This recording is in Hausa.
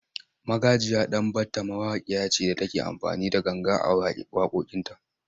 Magajiya Danbatta mawakiya ce da take amfani da ganga a waƙoƙinta.